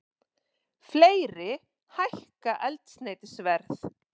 Fleiri hækka eldsneytisverð